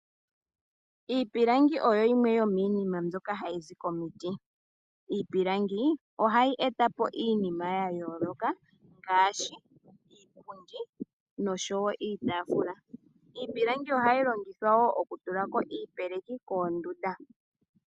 Iipilangi oha yizi komiti, nohayi etapo iinima ya yooloka ngaashi iipundi, noshowo iitafula. Ohayi longithwa wo oku tula iipeleki koondunda.